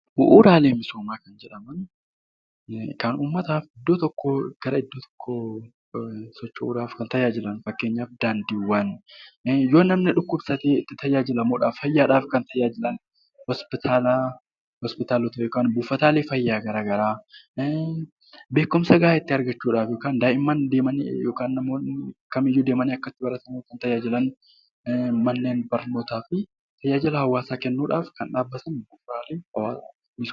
Bu'uuraalee misoomaa kan jedhaman kan uummataaf iddoo tokkoo gara iddoo tokkoo socho'uudhaaf kan tajaaajilaniidha. Fakkeenyaaf daandiiwwan; yoo namni dhukkubsatee ittiin tajaajilamuudhaaf; fayyaadhaaf kan tajaajilan, buufataalee fayyaa garaa garaa, manneen barnootaa fi tajaajila biroo uummataaf dhaabbataniidha.